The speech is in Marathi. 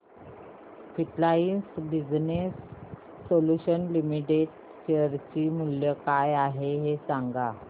frontline Business Solutions Limited share चे मूल्य काय आहे हे सांगा